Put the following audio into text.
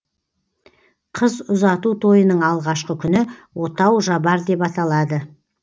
қыз ұзату тойының алғашқы күні отау жабар деп аталады